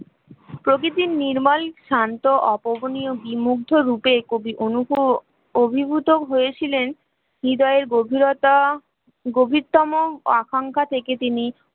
প্রকৃতির নির্মল শান্ত অপূরণীয় বিমুগ্ধ রূপে কবি অনুগ্রহ অভিভূত হয়েছিলেন হূদয়ের গভীরতা গভীরতম আকাঙ্ক্ষা থেকে তিনি